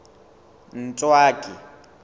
ntswaki